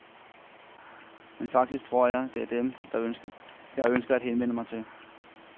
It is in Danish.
Men faktisk tror jeg, det er dem, jeg ønsker at henvende mig til.